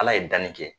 Ala ye danni kɛ